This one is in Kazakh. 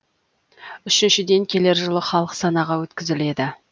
үшіншіден келер жылы халық санағы өткізіледі